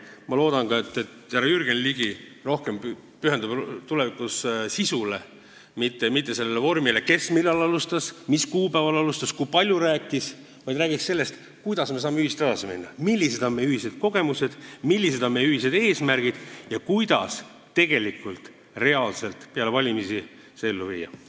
Ma loodan ka, et härra Jürgen Ligi pühendub tulevikus rohkem sisule, mitte sellele vormile, et kes millal alustas, mis kuupäeval alustas ja kui palju rääkis, vaid et ta räägiks sellest, kuidas me saame ühiselt edasi minna, millised on meie ühised kogemused, millised on meie ühised eesmärgid ja kuidas tegelikult reaalselt need peale valimisi ellu viia.